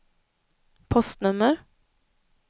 postnummer